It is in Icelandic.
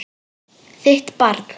Þitt barn.